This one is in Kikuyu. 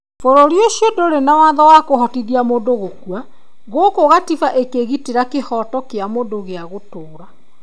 Bũrũri ũcio ndũrĩ na watho wa kũhotithia mũndũ gũkua. Gũkũ Katiba ĩkĩgitĩra kĩhooto kĩa mũndũ gĩa gũtũũra.